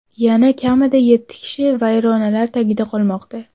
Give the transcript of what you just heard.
Yana kamida yetti kishi vayronalar tagida qolmoqda.